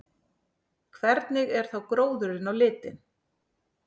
Hvernig er þá gróðurinn á litinn?